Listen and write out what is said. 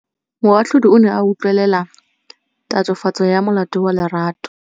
Moatlhodi o ne a utlwelela tatofatsô ya molato wa Lerato.